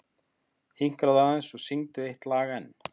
Hinkraðu aðeins og syngdu eitt lag enn.